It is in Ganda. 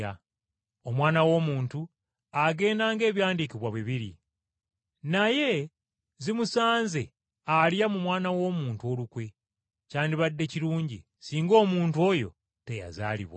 Omwana w’Omuntu agenda ng’Ebyawandiikibwa bwe biri. Naye zimusanze alya mu Mwana w’Omuntu olukwe. Kyandibadde kirungi singa omuntu oyo teyazaalibwa.”